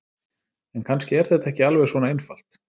En kannski er þetta ekki alveg svona einfalt.